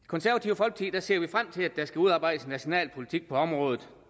i det ser vi frem til at der skal udarbejdes en national politik på området